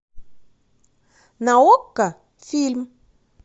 на окко фильм